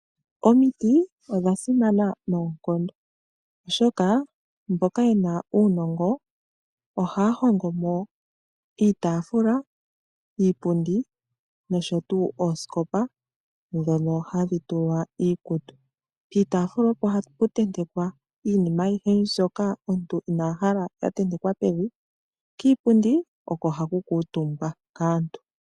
Omiti odha simana noonkondo, oshoka mboka yena uunongo ohaa hongo mo iitafula, iipundi nosho tuu oosikopa dhono hadhi tulwa iikutu. Piitafula opo hapu tentekwa iinima ayihe mbyoka omuntu ina hala ya tentekwa pevi. Kiipundi oko haku kuutumbwa kaantu.